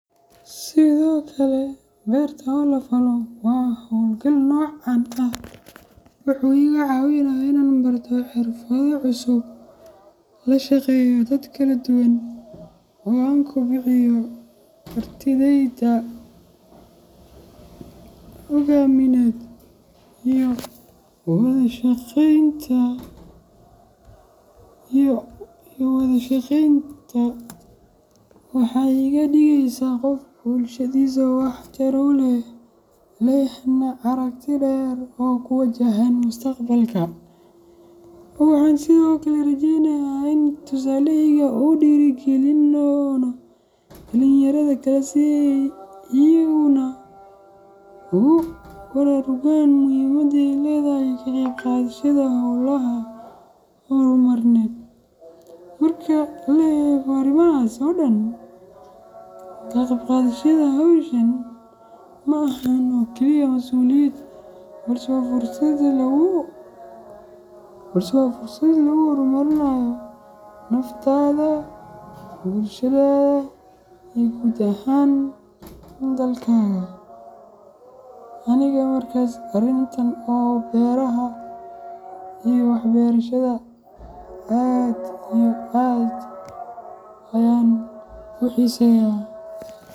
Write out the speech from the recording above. Sidoo kale, berta oo lafalo waa hawlgalka noocan ah wuxuu iga caawinayaa inaan barto xirfado cusub, la shaqeeyo dad kala duwan, oo aan kobciyo kartidayda hoggaamineed iyo wada shaqeynta. Waxay iga dhigeysaa qof bulshadiisa wax tar u leh, lehna aragti dheer oo ku wajahan mustaqbalka. Waxaan sidoo kale rajeynayaa in tusaalahayga uu dhiirigelin doono dhalinyarada kale si ay iyaguna ugu baraarugaan muhiimada ay leedahay ka qayb qaadashada hawlaha horumarineed. Marka la eego arrimahaas oo dhan, ka qayb qaadashada hawshan ma ahan oo kaliya masuuliyad, balse waa fursad lagu horumarinayo naftaada, bulshadaada, iyo guud ahaan dalkaaga. Aniga markas arinta beraha iyo wax berashada aad iyo aad ayan u xiseya.